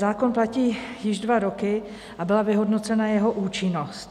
Zákon platí již dva roky a byla vyhodnocena jeho účinnost.